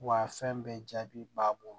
Wa fɛn bɛɛ jaabi b'a bolo